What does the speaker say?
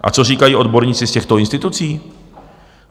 A co říkají odborníci z těchto institucí?